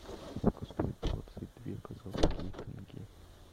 сколько стоит двадцать две казахские тенге